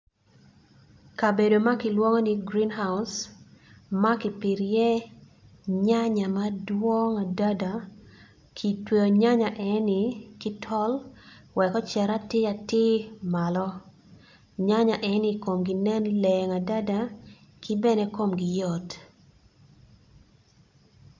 Kabedo makilwongo ni green house makipito i ye nyanya madwong adada kitweo nyanya eni kitol wek ociti atir atir malo, nyanya eni komgi nen leng adada kibene komgi yot